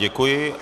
Děkuji.